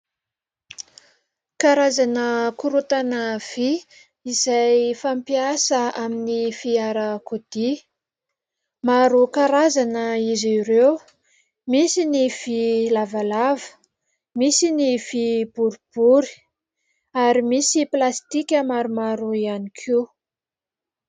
Karazana korontana vy izay fampiasa amin'ny fiarakodia. Maro karazana izy ireo, misy ny vy lavalava, misy ny vy boribory ary misy plastika maromaro ihany koa.